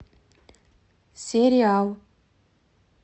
сериал